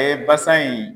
basan in